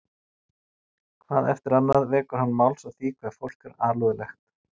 Hvað eftir annað vekur hann máls á því hve fólk sé alúðlegt